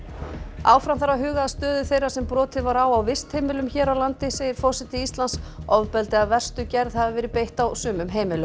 áfram þarf að huga að stöðu þeirra sem brotið var á á vistheimilum hér á landi segir forseti Íslands ofbeldi af verstu gerð hafi verið beitt á sumum heimilum